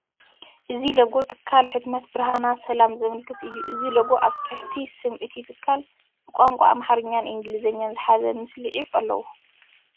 እዚ ሎጎ ትካል ሕትመት ብርሃነና ሰላም ዘመላኽት እዩ። እዚ ሎጎ ኣብ ታሕቲ ስም እቲ ትካል ብቋንቋ ኣምሓርኛን እንግሊዝኛን ዝሓዘ ምስሊ ዒፍ ኣለዎ።